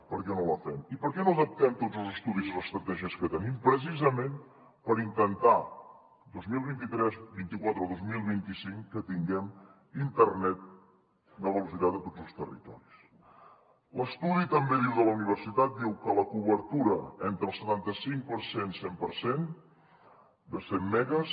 per què no la fem i per què no adaptem tots els estudis i les estratègies que tenim precisament per intentar que el dos mil vint tres vint quatre o vint cinc tinguem internet de velocitat a tots els territoris l’estudi de la universitat també diu que la cobertura entre el setanta cinc per cent cent per cent de cent megues